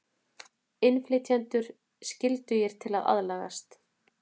Innflytjendur skyldugir til að aðlagast